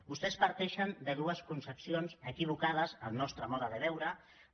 vostès parteixen de dues concepcions equivocades segons la nostra manera de veure ho